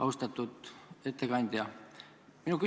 Austatud ettekandja!